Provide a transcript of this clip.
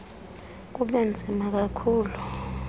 kube nzima kakhulu